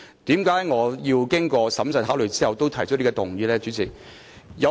為何我經過審慎考慮後仍提出這項議案呢？